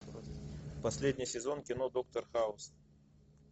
последний сезон кино доктор хаус